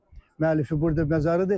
Dədə Qorqudun müəllifi burda məzarıdır.